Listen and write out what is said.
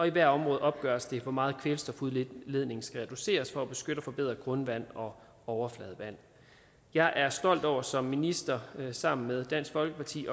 i hvert område opgøres hvor meget kvælstofudledningen skal reduceres for at beskytte og forbedre grundvand og overfladevand jeg er stolt over som minister sammen med dansk folkeparti